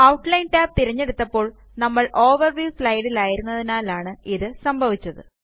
outline tab തിരഞ്ഞെടുത്തപ്പോള് നമ്മള് overview സ്ലൈഡിലായിരുന്നതിനാലാണ് ഇത് സംഭവിച്ചത്